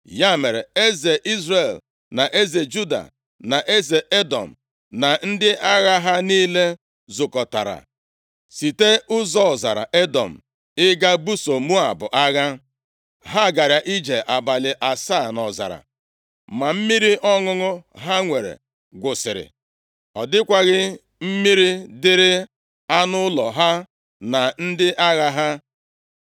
Ya mere, eze Izrel na eze Juda, na eze Edọm, + 3:9 Eze Edọm bụ onyeisi alaeze Jehoshafat họpụtara. Ị ga-ahụ nke a nʼakwụkwọ \+xt 1Ez 22:47; 2Ez 8:20\+xt* na ndị agha ha niile, zukọtara site ụzọ ọzara Edọm ịga ibuso Moab agha. Ha gara ije abalị asaa nʼọzara. Ma mmiri ọṅụṅụ ha nwere gwụsịrị. Ọ dịkwaghị mmiri dịrị anụ ụlọ ha, na ndị agha ha.